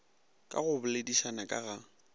ka go boledišana ka ga